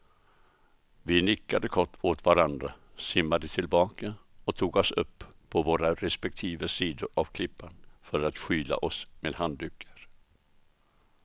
Vi nickade kort åt varandra, simmade tillbaka och tog oss upp på våra respektive sidor av klippan för att skyla oss med handdukar.